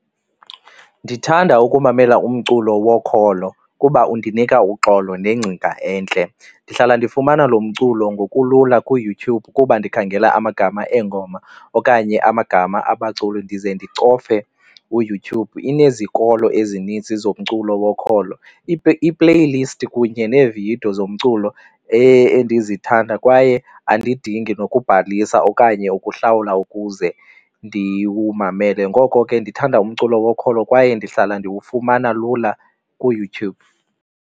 Ndithanda ukumamela umculo wokholo kuba undinika uxolo nengcinga entle, ndihlala ndifumana lo mculo ngokulula kuYouTube kuba ndikhangela amagama eegoma okanye amagama abaculi ndize ndicofe uYouTube. Unezikolo ezininzi zomculo wokholo i-playlist kunye neevidiyo zomculo endizithanda kwaye andidingi nokubhalisa okanye ukuhlawula ukuze ndiwumamele. Ngoko ke ndithanda umculo wokholo kwaye ndihlala ndiwufumana lula kuYouTube.